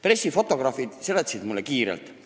Pressifotograafid seletasid mulle selle kiirelt ära.